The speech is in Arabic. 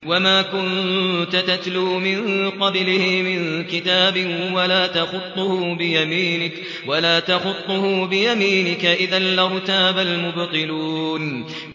وَمَا كُنتَ تَتْلُو مِن قَبْلِهِ مِن كِتَابٍ وَلَا تَخُطُّهُ بِيَمِينِكَ ۖ إِذًا لَّارْتَابَ الْمُبْطِلُونَ